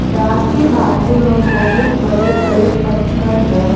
Dam के बाजू में बहुत बड़े बड़े पत्थर हैं।